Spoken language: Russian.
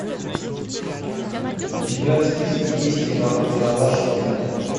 у тебя в списке есть ералаш в кино